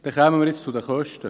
Wir kommen zu den Kosten: